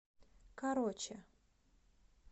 короче